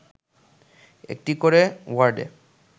একটি করে ওয়ার্ডে